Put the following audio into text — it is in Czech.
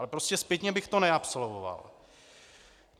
Ale prostě zpětně bych to neabsolvoval.